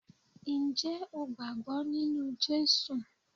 Ǹjẹ́ o gbàgbọ́ nínú Jésù?